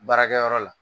Baarakɛyɔrɔ la